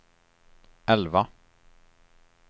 elva